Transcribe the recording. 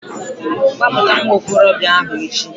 Gbapụta nwa okorobịa ahu echi!